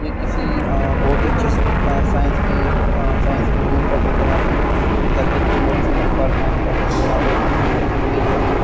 यह किसी अ बहुत अच्छे साइंस की अ साइंस के रूम का फोटो यहाँ पे लगता किसी मेडिसिन डिपार्टमेंट का फोटो यहाँ पे एक मशीन रखी हुई है जो कि--